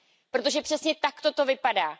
Protože přesně takto to vypadá.